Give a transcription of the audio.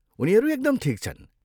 उनीहरू एकदम ठिक छन्।